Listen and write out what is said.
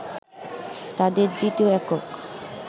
তাদের দ্বিতীয় একক